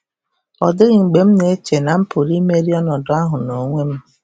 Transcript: Ọ dịghị mgbe m na-eche na m pụrụ imeri ọnọdụ ahụ n'onwe m.